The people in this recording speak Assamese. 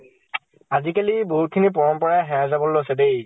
আজি কালি বহুত খিনি পৰম্পৰা হেৰাই যাবলৈ লৈছে দে।